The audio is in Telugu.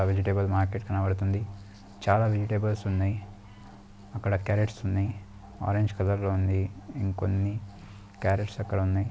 విజిటేబుల్ మార్కెట్ కనబడుతోంది చాలా విజిటేబుల్ ఉన్నాయి అక్కడ కార్రోట్ ఉన్నాయి అవి ఆరెంజ్ కలర్‌లో ఉంది ఇంకొన్ని కర్రోట్ ఇంకా కొన్ని కార్రోట్స్.